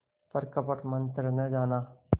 पर कपट मन्त्र न जाना